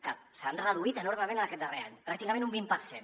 que s’han reduït enormement en aquest darrer any pràcticament un vint per cent